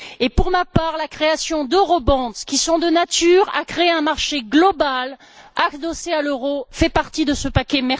Et, pour ma part, la création d'eurobonds, qui sont de nature à créer un marché global adossé à l'euro, fait partie de ce paquet.